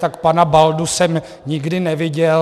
Tak pana Baldu jsem nikdy neviděl.